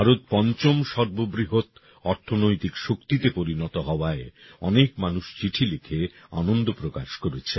ভারত পঞ্চম সর্ববৃহৎ অর্থনৈতিক শক্তিতে পরিণত হওয়ায় অনেক মানুষ চিঠি লিখে আনন্দ প্রকাশ করেছেন